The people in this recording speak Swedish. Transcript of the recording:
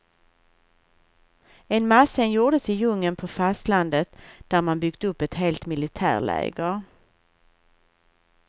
En massscen gjordes i djungeln på fastlandet, där man byggt upp ett helt militärläger.